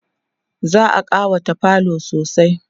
za'a ƙawata falo sosai